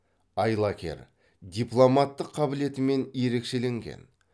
айлакер дипломаттық қабілетімен ерекшеленген